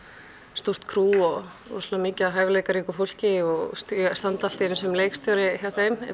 stórt crew og mikið af hæfileikaríku fólki og standa allt í einu sem leikstjóri hjá þeim